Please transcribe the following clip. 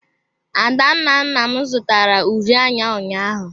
Adanna nna m zụtara uri anya ụnyaahụ.